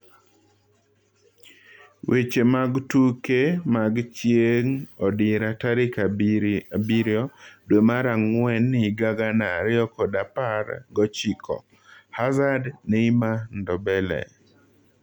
Weche mag tuke mag chieng odira tarik abiro dwee mar ang'wen higa gana ariyo kod apar gochiko:Hazard, Neymar, Ndombele